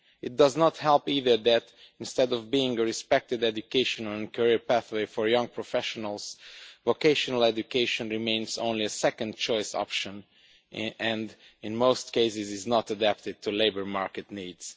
It does not help either that, instead of being a respected education and career pathway for young professionals, vocational education remains only a second-choice option and, in most cases, is not adapted to labour market needs.